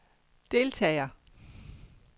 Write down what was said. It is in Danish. deltager